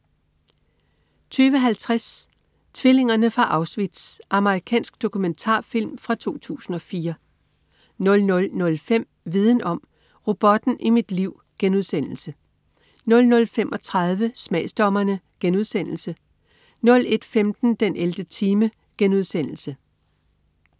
22.50 Tvillingerne fra Auschwitz. Amerikansk dokumentarfilm fra 2004 00.05 Viden om: Robotten i mit liv* 00.35 Smagsdommerne* 01.15 den 11. time*